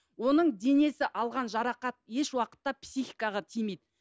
оның денесі алған жарақат еш уақытта психикаға тимейді